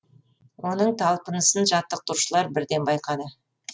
оның талпынысын жаттықтырушылар бірден байқады